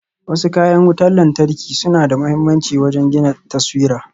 Wasu kayan wutan lantarki suna da mahimmanci wajen gina taswira.